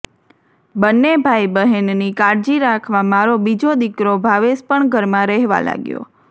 બંને ભાઈબહેનની કાળજી રાખવા મારો બીજો દીકરો ભાવેશ પણ ઘરમાં રહેવા લાગ્યો